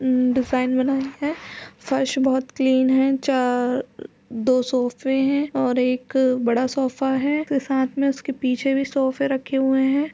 अ design बनाई हैफर्श बहुत क्लीन है चार दो सोफे हैं और एक बड़ा सोफा है तो साथ में उसके पीछे भी सोफे रखे हुए हैं ।